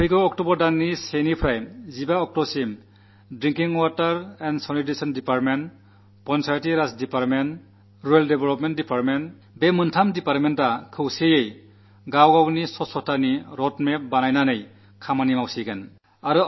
ഈ വരുന്ന ഒക്ടോബർ മാസത്തിൽ 1 ആം തീയതി മുതൽ 15 ആം തീയതി വരെ കുടിവെള്ള ഗ്രാമ വികസന പഞ്ചായത്തീരാജ് എന്നീ വകുപ്പുകൾ ഒരുമിച്ച് തങ്ങളുടെ മേഖലയിൽ ശുചിത്വക്കുറിച്ചുള്ള ഒരു രൂപരേഖ തയ്യാറാക്കി പ്രവർത്തിക്കാൻ പോവുകയാണ്